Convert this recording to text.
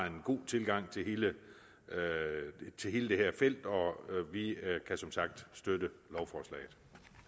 en god tilgang til hele til hele det her felt og vi kan som sagt støtte lovforslaget